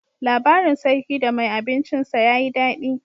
Labarin sarki da mai abincin sa ya yi daɗi.